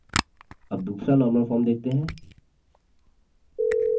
अब दूसरा normal form देखते हैं